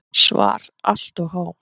SVAR Allt of há.